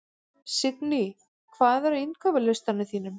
Lingný, hvað er á innkaupalistanum mínum?